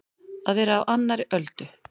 Að vera á annarri öldu